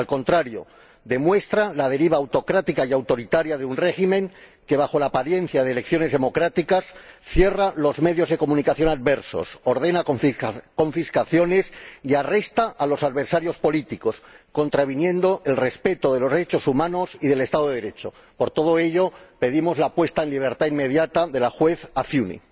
Al contrario, demuestra la deriva autocrática y autoritaria de un régimen que, bajo la apariencia de elecciones democráticas, cierra los medios de comunicación adversos, ordena confiscaciones y arresta a los adversarios políticos, contraviniendo el respeto de los derechos humanos y del Estado de Derecho. Por todo ello, pedimos la puesta en libertad inmediata de la juez Afiuni.